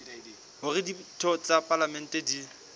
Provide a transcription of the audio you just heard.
hore ditho tsa palamente di